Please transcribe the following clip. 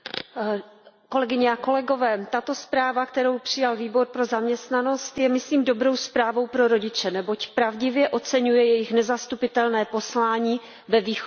Kolegyně a kolegové, tato zpráva, kterou přijal Výbor pro zaměstnanost a sociální věci, je, myslím, dobrou zprávou pro rodiče, neboť pravdivě oceňuje jejich nezastupitelné poslání ve výchově dětí.